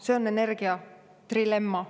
See on energia trilemma.